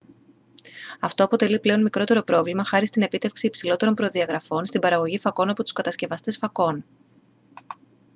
αυτό αποτελεί πλέον μικρότερο πρόβλημα χάρη στην επίτευξη υψηλότερων προδιαγραφών στην παραγωγή φακών από τους κατασκευαστές φακών